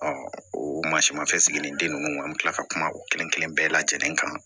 o mansinmafɛn sigilen ninnu an bɛ tila ka kuma o kelen kelen bɛɛ lajɛlen kan